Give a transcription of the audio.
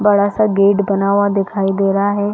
बड़ा -सा गेट बना हुआ दिखाई दे रहा है।